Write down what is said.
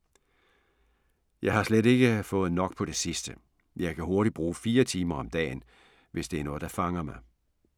Jeg har slet ikke fået nok på det sidste. Jeg kan hurtigt bruge fire timer om dagen, hvis det er noget, der fanger mig.